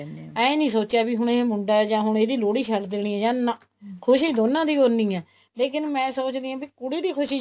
ਏਵੇਂ ਨੀ ਸੋਚਿਆ ਵੀ ਹੁਣ ਇਹ ਮੁੰਡਾ ਹੈ ਜਾਂ ਹੁਣ ਇਹਦੀ ਲੋਹੜੀ ਛੱਡ ਦੇਣੀ ਆ ਨਾ ਖੁਸ਼ੀ ਦੋਨਾ ਦੀ ਹੀ ਉੰਨੀ ਹੈ ਲੇਕਿਨ ਮੈਂ ਸੋਚਦੀ ਹਾਂ ਵੀ ਕੁੜੀ ਦੀ ਖੁਸ਼ੀ